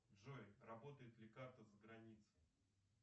джой работает ли карта за границей